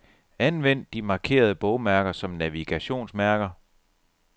Anvend de markerede bogmærker som navigationsmærker.